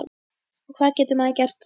Og hvað getur maður gert þá?